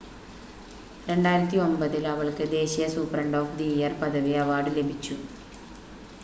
2009 ൽ അവൾക്ക് ദേശീയ സൂപ്രണ്ട് ഓഫ് ദി ഇയർ പദവി അവാർഡ് ലഭിച്ചു